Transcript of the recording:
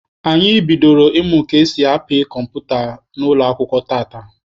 Anyị bidoro ịmụ ka esi apị kọmputa n'ụlọ akwụkwọ tata.